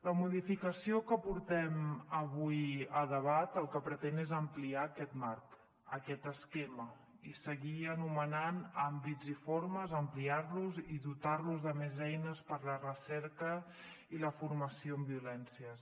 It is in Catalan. la modificació que portem avui a debat el que pretén és ampliar aquest marc aquest esquema i seguir anomenant àmbits i formes ampliar los i dotar los de més eines per a la recerca i la formació en violències